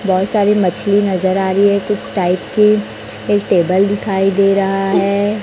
बहुत सारी मछली नजर आ रही है कुछ टाइप की एक टेबल दिखाई दे रहा है।